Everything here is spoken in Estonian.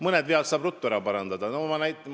Mõned vead saab ruttu ära parandada.